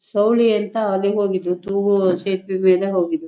ಸೌಲಿ ಅಂತ ಎಲ್ಲಿಗೆ ಹೋಗಿದ್ವು ತೂಗು ಸೇತುವೆ ಮೇಲೆ ಹೋಗಿದ್ವು.